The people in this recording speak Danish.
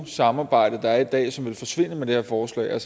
samarbejde der er i dag som vil forsvinde med det her forslag jeg